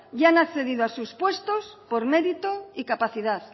y han accedido a sus puestos por mérito y capacidad